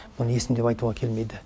мұны есім деп айтуға келмейді